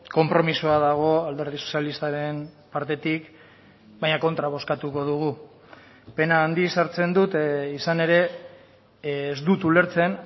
konpromisoa dago alderdi sozialistaren partetik baina kontra bozkatuko dugu pena handiz hartzen dut izan ere ez dut ulertzen